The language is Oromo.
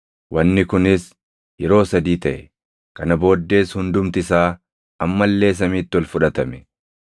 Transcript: Wanni kunis yeroo sadii taʼe; kana booddees hundumti isaa amma illee samiitti ol fudhatame.